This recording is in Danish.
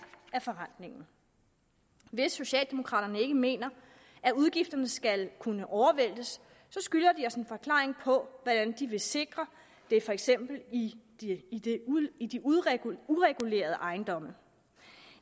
af forrentningen hvis socialdemokraterne ikke mener at udgifterne skal kunne overvæltes skylder de os en forklaring på hvordan de vil sikre det for eksempel i de uregulerede ejendomme